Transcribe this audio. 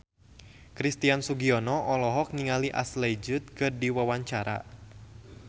Christian Sugiono olohok ningali Ashley Judd keur diwawancara